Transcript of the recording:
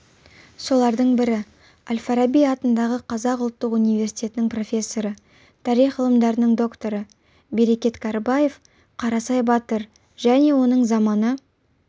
солардың бірі әл-фараби атындағы қазақ ұлттық университетінің профессоры тарих ғылымдарының докторы берекет кәрібаев қарасай батыр және оның заманы